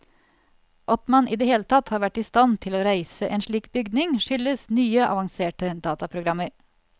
At man i det hele tatt har vært i stand til å reise en slik bygning, skyldes nye avanserte dataprogrammer.